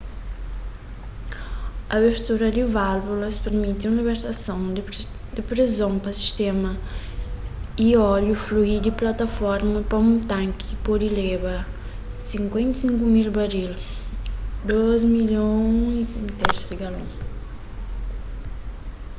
abertura di válvulas permiti un libertason di preson pa sistéma y óliu flui di plataforma pa un tanki ki pode leba 55,000 baril 2,3 milhon di galon